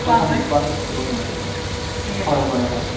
হয় হয় হয়